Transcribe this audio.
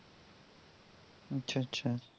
আচ্ছা আচ্ছা